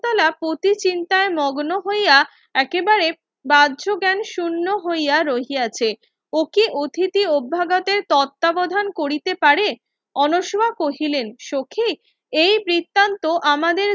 শকুন্তলা পতি চিন্তায় মগ্ন হইয়া একেবারে বাহ্য জ্ঞান শুন্য হইয়া রহিয়াছে অতি অতিথি অভাগাতের তত্তা বোধান করিতে পারে অনষ্মা কহিলেন সখি এই বৃত্তান্ত আমাদের